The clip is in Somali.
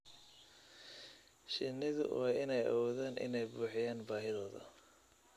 Shinnidu waa inay awoodaan inay buuxiyaan baahidooda.